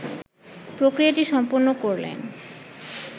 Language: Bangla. প্রক্রিয়াটি সম্পন্ন করলেন